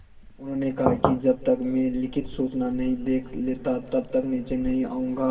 उन्होंने कहा कि जब तक मैं लिखित सूचना नहीं देख लेता तब तक नीचे नहीं आऊँगा